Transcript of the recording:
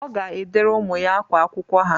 Ọ ga-edere ụmụ ya ákwá akwụkwọ ha.